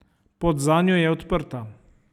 Pot zanjo je odprta.